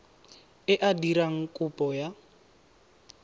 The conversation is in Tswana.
e a dirang kopo ya